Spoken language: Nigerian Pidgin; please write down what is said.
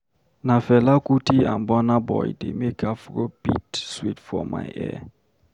Na Fela Kuti and Burna Boy dey make Afrobeat sweet for my ear.